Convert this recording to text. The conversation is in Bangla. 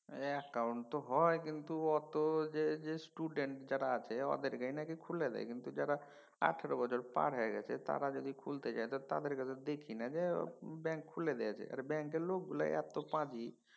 অ্যাকাউন্ট তো হয় কিন্তু অত যে যে student যারা আছে ওদেরকেই নাকি খুলে দেয় কিন্তু যারা আঠারো বছর পার হয়ে গেছে তারা যদি খুলতে যায় তো তাদের কে তো দেখিনা। যাই হোক ব্যাঙ্ক খুলে দিয়েছে ব্যাঙ্কের লোকগুলাই এত পাজি।